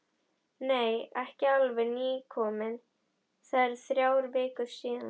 Nei, ekki alveg nýkominn, það eru þrjár vikur síðan.